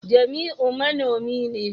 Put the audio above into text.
jamiu manomi ne